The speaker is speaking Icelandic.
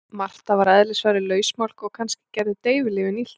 Marta var að eðlisfari lausmálg og kannski gerðu deyfilyfin illt verra.